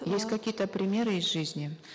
есть какие то примеры из жизни